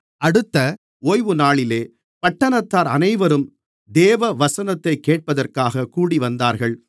அடுத்த ஓய்வுநாளிலே பட்டணத்தார் அனைவரும் தேவவசனத்தைக் கேட்பதற்காக கூடிவந்தார்கள்